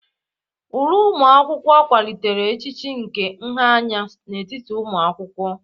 Uwe ụlọ akwụkwọ akwalitela echiche nke nha anya n'etiti ụmụ akwụkwọ.